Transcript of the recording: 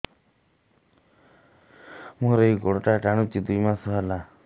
ମୋର ଏଇ ଗୋଡ଼ଟା ଟାଣୁଛି ଦୁଇ ମାସ ହେଲା